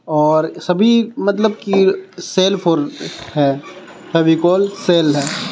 और सभी मतलब की सेल फोर है फेविकोल सेल है.